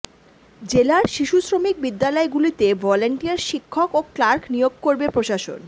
জেলার শিশু শ্রমিক বিদ্যালয়গুলিতে ভলান্টিয়ার শিক্ষক ও ক্লার্ক নিয়োগ করবে প্রশাসন